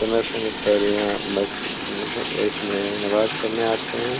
समय-समय पे यहाँ मस्जिद मे ह इसमें नमाज पढने आते हैं।